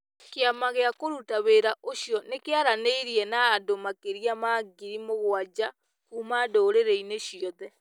Kĩama gĩa kũruta wĩra ũcio nĩ kĩaranĩirie na andũ makĩria ma ngiri mũgwanja kuuma ndũrĩrĩ-inĩ ciothe,